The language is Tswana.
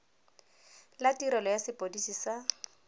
la tirelo ya sepodisi sa